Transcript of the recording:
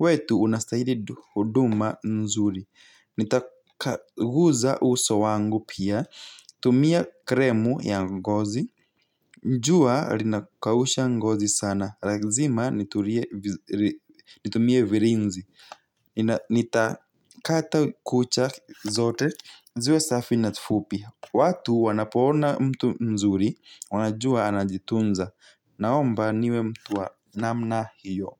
wetu unastahili huduma nzuri. Nitakaguza uso wangu pia. Tumia kremu ya ngozi jua rinakausha ngozi sana razima nitulie nitumie virinzi nina nita kata kucha zote ziwe safi na fupi. Watu wanapo ona mtu mzuri wanajua anajitunza naomba niwe mtu wa namna hiyo.